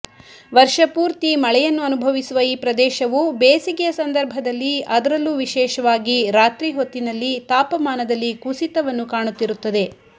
ವರ್ಷಪೂರ್ತಿ ಮಳೆಯನ್ನು ಅನುಭವಿಸುವ ಈ ಪ್ರದೇಶವು ಬೇಸಿಗೆಯ ಸಂದರ್ಭದಲ್ಲಿ ಅದರಲ್ಲೂ ವಿಶೆಷವಾಗಿ ರಾತ್ರಿ ಹೊತ್ತಿನಲ್ಲಿ ತಾಪಮಾನದಲ್ಲಿ ಕುಸಿತವನ್ನು ಕಾಣುತ್ತಿರುತ್ತದೆ